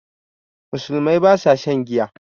Musulmai ba sa shan giya